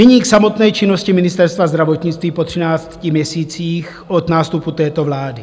Nyní k samotné činnosti Ministerstva zdravotnictví po třinácti měsících od nástupu této vlády.